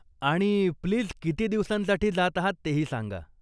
आणि, प्लीज किती दिवसांसाठी जात आहात तेही सांगा.